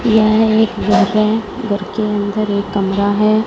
यह एक घर है घर के अंदर एक कमरा है।